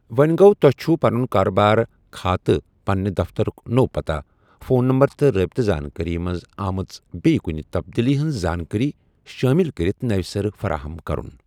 وونہِ گوٚو، تۄہہِ چُھو، پنُن کارٕبار کھاتہٕ پنٛنہِ دفتَرُک نوٚو پتاہ، فون نَمبر، تہٕ رٲبِطہٕ زانكٲری منز آمژِ بیٚیہِ کُنہِ تبدیٖلی ہِنٛز زانٛکٲری شٲمِل کَرٕتھ نوِ سرٕ فرایم كرُن۔